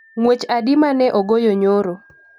ng'wech adi mane ogoyo nyoro